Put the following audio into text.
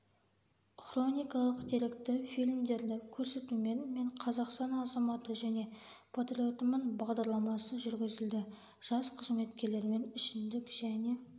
хроникалық деректі фильмдерді көрсетумен мен қазақстан азаматы және патриотымын бағдарламасы жүргізілді жас қызметкерлермен ішімдік және